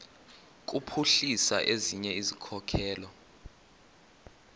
kuphuhlisa ezinye izikhokelo